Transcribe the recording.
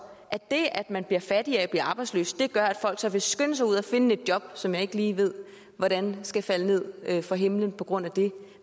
at det at man bliver fattigere af at blive arbejdsløs gør at folk så vil skynde sig ud og finde et job som jeg ikke lige ved hvordan skal falde ned fra himlen på grund af det